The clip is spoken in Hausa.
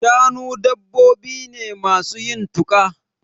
Shanu dabbobi ne masu yin tuƙa.